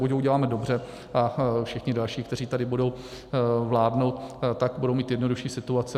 Buď ho uděláme dobře a všichni další, kteří tady budou vládnout, tak budou mít jednodušší situaci.